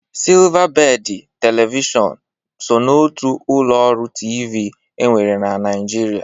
Silvabedị Televishọn so n'otu ụlọ ọrụ TV e nwere na Naịjirịa.